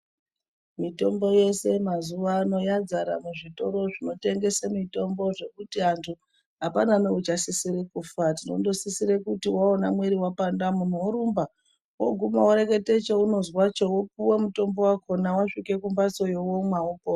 Mitombo yese mazuwa ano yadzara muzvitoro zvinotengese mitombo zvekuti antu apana nouchasisire kufa tinondosise kuti waone muiri wapanda worumba woguma worekete chaunozwa cho weipuwa mutombo wakhona, wasvike kumbatsoyo womwa wopona.